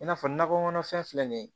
I n'a fɔ nakɔ kɔnɔfɛn filɛ nin ye